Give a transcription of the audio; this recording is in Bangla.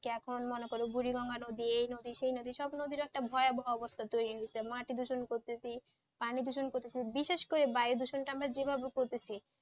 এখন মনে কর বুড়িগঙ্গা নদী এই নদী সেই নদী সব নদীএর একটা ভয়াবহ অবস্থা তৈরি হয়েছে মাটি দূষণ করছি পানিদূষণ করছি বিশেষ করে বায়ুদূষণ আমরা যেভাবে করতেছি,